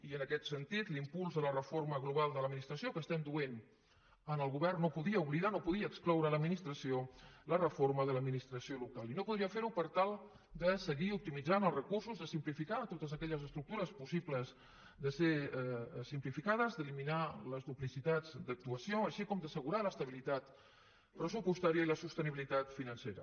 i en aquest sentit l’impuls de la reforma global de l’administració que estem duent en el govern no podia oblidar no podia excloure la reforma de l’administració local i no podia fer ho per tal de seguir optimitzant els recursos de simplificar totes aquelles estructures possibles de ser simplificades d’eliminar les duplicitats d’actuació així com d’assegurar l’estabilitat pressupostària i la sostenibilitat financera